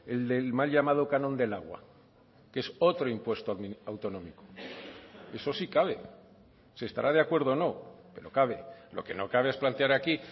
el del mal llamado canon del agua que es otro impuesto autonómico eso sí cabe se estará de acuerdo o no pero cabe lo que no cabe es plantear aquí